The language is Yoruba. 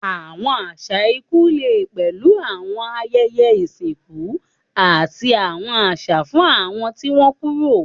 Àwọn àṣà ikú lè pẹ̀lú àwọn ayẹyẹ ìsìnkú àti àwọn àṣà fún àwọn tí wọ́n kúrò.